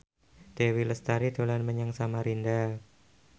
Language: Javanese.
Dewi Lestari dolan menyang Samarinda